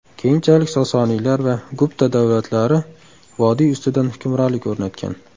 Keyinchalik Sosoniylar va Gupta davlatlari vodiy ustidan hukmronlik o‘rnatgan.